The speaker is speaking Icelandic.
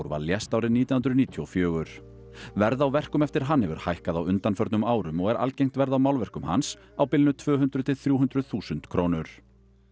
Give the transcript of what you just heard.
stórval lést nítján hundruð níutíu og fjögur verð á verkum eftir hann hefur hækkað á undanförnum árum og er algengt verð á málverkum hans á bilinu tvö hundruð til þrjú hundruð þúsund krónur